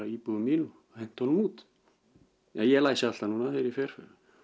íbúðin mín og henti honum út já ég læsi alltaf núna þegar ég fer